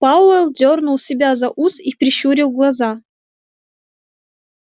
пауэлл дёрнул себя за ус и прищурил глаза